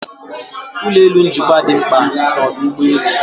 Ulọ elu njikwa dị mkpa na ọdụ ụgbọ elu